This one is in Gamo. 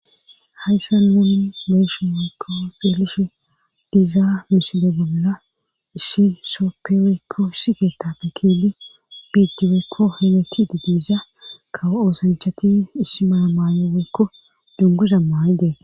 hayssa nuuni maysho weykko xeelishe dizaa misile bolla isshi sopewekko siketape kili biidiweekko hemeti didiiza kaw7oosanchati issi maamayoekko dunguza maayidee